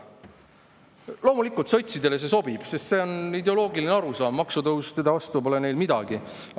Loomulikult, sotsidele see sobib, sest see on nende ideoloogiline arusaam, maksutõusude vastu pole neil midagi.